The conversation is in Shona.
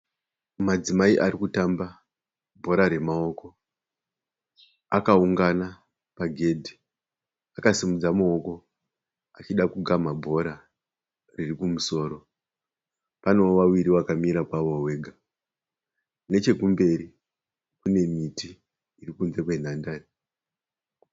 Madzimai ari kutamba bhora remaoko. Akaungana pagedhi akasimudza maoko achida kugamha bhora riri kumusoro. Panewo vaviri vakamira pavo vega. Nechekumberi kune miti iri kunze kwenhandare.